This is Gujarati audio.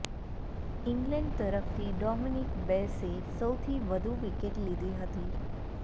ઇંગ્લેંડ તરફથી ડોમિનિક બેસે સૌથી વધુ વિકેટ લીધી હતી